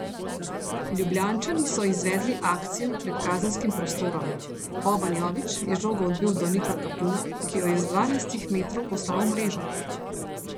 Ljubljančani so izvedli akcijo pred kazenskim prostorom, Boban Jović je žogo odbil do Nika Kapuna, ki jo je z dvanajstih metrov poslal v mrežo.